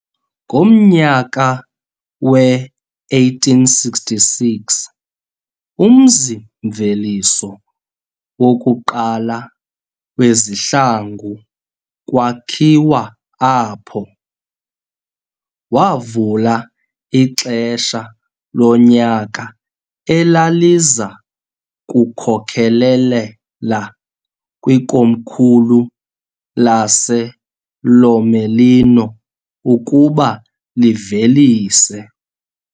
Ngomnyaka we-1866 umzi-mveliso wokuqala wezihlangu kwakhiwa apho , wavula ixesha lonyaka elaliza kukhokelelela kwikomkhulu laseLomellino ukuba livelise